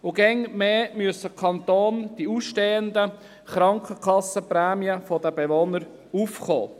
Immer stärker muss der Kanton für die ausstehenden Krankenkassenprämien der Bewohner aufkommen.